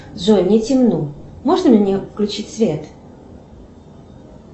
джой мне темно можно мне включить свет